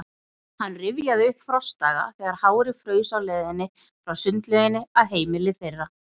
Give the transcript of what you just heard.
Hann rifjaði upp frostdaga, þegar hárið fraus á leiðinni frá sundlauginni að heimili þeirra.